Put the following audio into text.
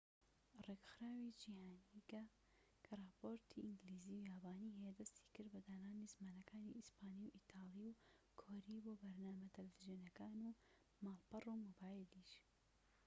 ڕێکخراوە جیهانیکە کە راپۆرتی ئینگلیزی و یابانی هەیە دەستی کرد بە دانانی زمانەکانی ئیسپانی و ئیتالی و کۆری بۆ بەرنامە تەلەڤیزۆنیەکان و ماڵپەڕ و مۆبایلیش